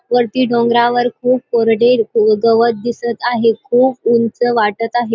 वरती डोंगरावर खूप कोरडे गवत दिसत आहे. खूप उंच वाटत आहे.